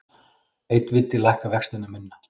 Einn vildi lækka vexti minna